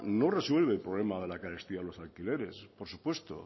no resuelve el problema de la carestía de los alquileres por supuesto